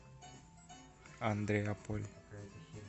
андреаполь